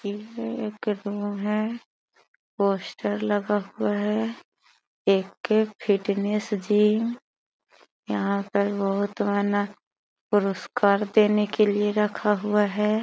है पोस्टर लगा हुआ है ए के फिटनेस जिम यहाँ पे बहुत आना पुरस्कार देने के लिए रखा हुआ है।